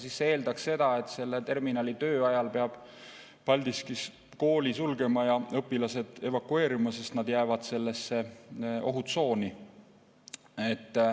See eeldaks seda, et selle terminali töö ajal peab Paldiskis kooli sulgema ja õpilased evakueerima, sest nad jäävad sellesse ohutsooni.